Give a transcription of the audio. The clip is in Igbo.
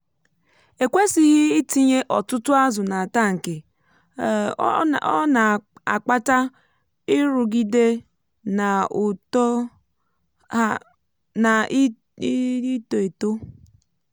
ekwésighi itinye ọtụtụ ázù nà tankị um ọ na-akpata nrụgide na uto um ha na-ito eto